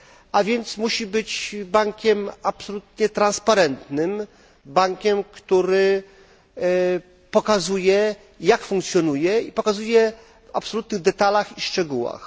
A więc musi być bankiem absolutnie transparentnym, bankiem, który pokazuje jak funkcjonuje i to w absolutnych detalach i szczegółach.